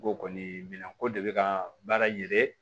N ko kɔni minan ko de bɛ ka baara ye